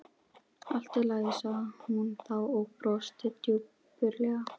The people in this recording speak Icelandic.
Allt í lagi sagði hún þá og brosti dapurlega.